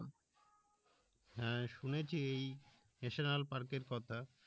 হ্যাঁ শুনেছি এই national park এর কথা